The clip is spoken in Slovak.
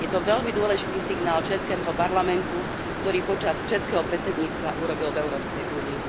Je to veľmi dôležitý signál českého parlamentu, ktorý počas českého predsedníctva urobil v Európskej únii.